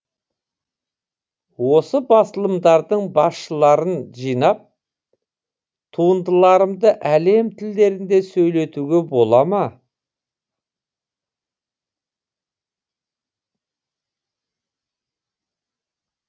осы басылымдардың басшыларын жинап туындыларымды әлем тілдерінде сөйлетуге бола ма